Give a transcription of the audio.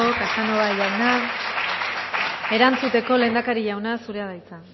casanova jauna erantzuteko lehendakari jauna zurea da hitza